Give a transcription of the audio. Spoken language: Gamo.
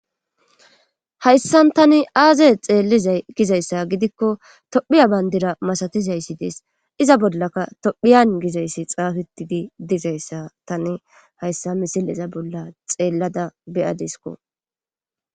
hayssan tani aaze xeellizay gizayssa gidikko tophiya bandira masatizayssi des iza bollaka tophiyan gizayssi xaafettidi dizayssa tani hayssa misileza bolla xeellada be7adiskko.